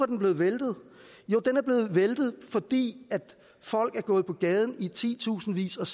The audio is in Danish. den blevet væltet den er blevet væltet fordi folk er gået på gaden i titusindvis og